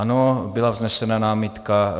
Ano, byla vznesena námitka.